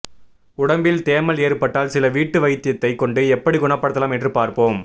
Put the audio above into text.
உடம்பில் தேமல் ஏற்பட்டால் சில வீட்டு வைத்தியத்தை கொண்டு எப்படி குணப்படுத்தலாம் என்று பார்ப்போம்